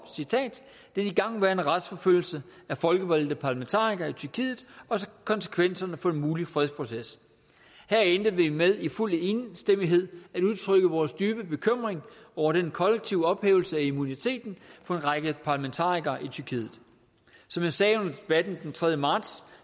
den igangværende retsforfølgelse af folkevalgte parlamentarikere i tyrkiet og konsekvenserne for en mulig fredsproces her endte vi med i fuld enstemmighed at udtrykke vores dybe bekymring over den kollektive ophævelse af immuniteten for en række parlamentarikere i tyrkiet som jeg sagde under debatten den tredje marts